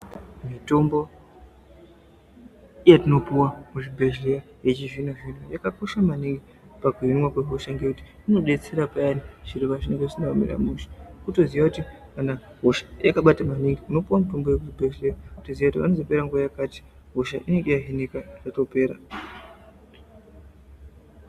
Mitombo yetinopuva muchibhedhleya yechizvino-zvino, yakakosha maningi pakuhinwa kwehosha. Ngekuti inobetsera payani zviro pazvinenge zvisina kumira mushe. Votoziya kuti hosha yakabata maningi unopuva muzvibhedhleya votoziya kuti panozopera nguva yakati hosha inenge yahinika zvatopera.